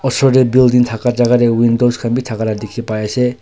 Osor dae building thaka jaka dae windows khan bhi thakala dikhi pai ase.